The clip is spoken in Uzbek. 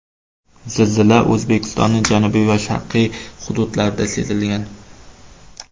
Zilzila O‘zbekistonning janubiy va sharqiy hududlarida sezilgan.